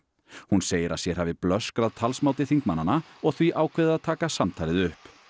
hún segir að sér hafi blöskrað talsmáti þingmannanna og því ákveðið að taka samtalið upp